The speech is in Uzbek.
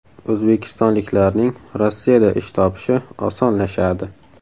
O‘zbekistonliklarning Rossiyada ish topishi osonlashadi.